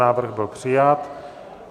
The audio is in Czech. Návrh byl přijat.